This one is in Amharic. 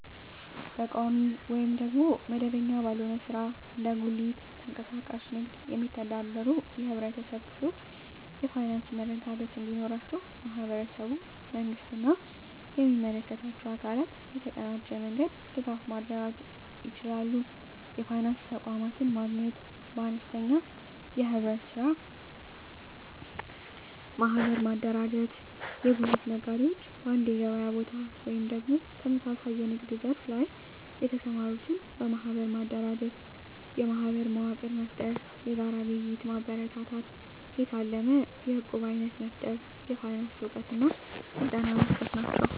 በቋሚ ወይም መደበኛ ባልሆነ ሥራ (እንደ ጉሊት፣ ተንቀሳቃሽ ንግድ) የሚተዳደሩ የህብረተሰብ ክፍሎች የፋይናንስ መረጋጋት እንዲኖራቸው ማህበረሰቡ፣ መንግስት እና የሚመለከታቸው አካላት በተቀናጀ መንገድ ድጋፍ ማድረግ ይችላሉ። የፋይናንስ ተቋማትን ማገናኘት -በአነስተኛ የኅብረት ሥራ ማህበር ማደራጀት የጉሊት ነጋዴዎች በአንድ የገበያ ቦታ ወይም ተመሳሳይ የንግድ ዘርፍ ላይ የተሰማሩትን በማህበር ማደራጀት። -የማህበር መዋቅር መፍጠር -የጋራ ግብይት ማበረታታት -የታለመ የዕቁብ አይነት መፍጠር -የፋይናንስ እውቀት ስልጠና